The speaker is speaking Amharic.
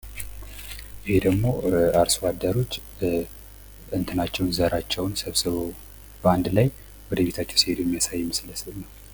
ይህ ደግሞ አርሶ አደሮች ዘራቸውን ሰብስበው በአንድ ላይ ወደ ቤታቸው ሲሄዱ የሚያሳይ ምስል ነው።